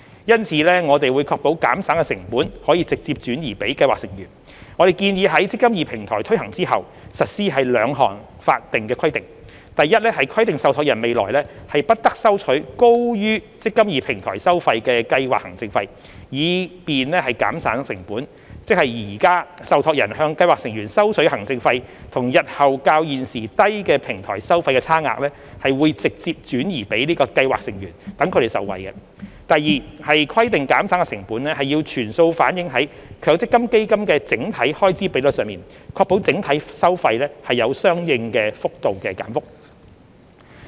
因此，我們會確保減省的成本可直接轉移予計劃成員，我們建議在"積金易"平台推行後，實施兩項法定規定：一規定受託人未來不得收取高於"積金易"平台收費的計劃行政費，以便減省的成本，即現時受託人向計劃成員收取的行政費與日後較現時低的平台收費的差額，會"直接轉移"予計劃成員，讓其受惠；二規定減省的成本要全數反映在強積金基金的整體開支比率上，確保整體收費有相應幅度的減幅。